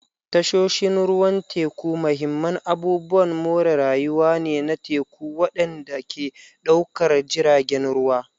Tashoshin ruwan teku mahimman abubuwan more rayuwa ne na teku waɗanda ke ɗaukar jiragen ruwa.